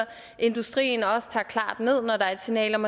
industrien også tager det klart ned når der er et signal om